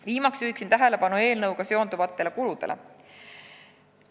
Viimaseks juhin tähelepanu eelnõuga seonduvatele kuludele.